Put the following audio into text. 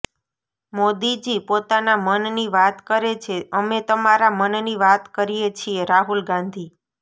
મોદીજી પોતાના મનની વાત કરે છે અમે તમારા મનની વાત કરીએ છીએઃ રાહુલ ગાંધી